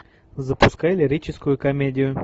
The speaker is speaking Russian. запускай лирическую комедию